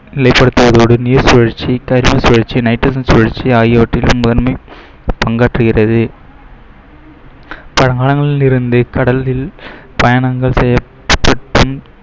நீர் சுழற்சி, சுழற்சி, சுழற்சி ஆகியவற்~ பங்காற்றுகிறது கடலில் பயணங்கள் செய்ய